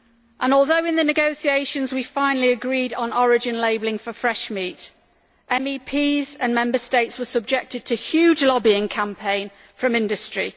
And although in the negotiations we finally agreed on origin labelling for fresh meat, MEPs and Member States were subjected to a huge lobbying campaign from industry.